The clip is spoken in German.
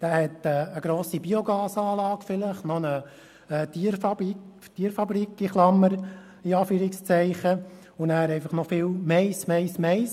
Er hat vielleicht eine grosse Biogasanlage, möglicherweise auch eine «Tierfabrik» und viel Mais, Mais, Mais.